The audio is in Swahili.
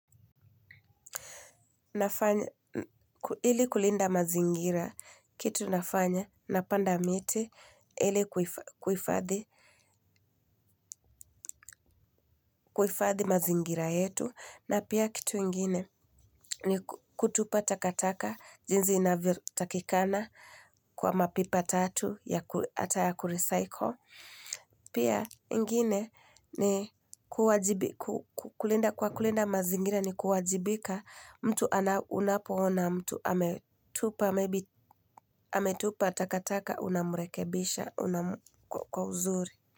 Nafanya, ili kulinda mazingira, kitu nafanya, napanda miti, ele kuhifadhi, kuhifadhi mazingira yetu, na pia kitu ingine, ni kutupa takataka, jinzi inavyo takikana kwa mapipa tatu, hata ya kurecycle. Pia ingine ni, kuwajibi, kulinda mazingira ni kuwajibika mtu ana unapo ona mtu ametupa, maybe ametupa takataka unamrekebisha kwa uzuri.